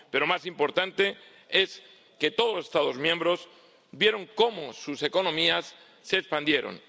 Pero más importante es que todos los Estados miembros vieron cómo sus economías se expandieron.